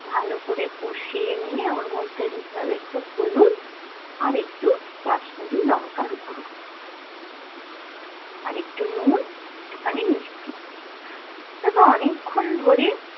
ভালো করে কষিয়ে নিয়ে ওর মধ্যে দিতে হবে একটু হলুদ আর একটু কাশ্মিরি লঙ্কার গুঁড়ো আর একটু নুন, একটু খানি মিষ্টি তারপর অনেক্ষন ধরে